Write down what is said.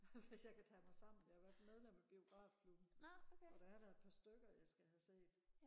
hvis jeg kan tage mig sammen jeg har været medlem af biografklubben og der er da et par stykker jeg skal have set